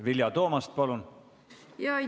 Vilja Toomast, palun!